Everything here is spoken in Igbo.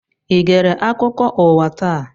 I gere akụkọ ụwa taa?